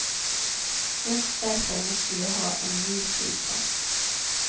Just därför måste vi ha en ny flygplats.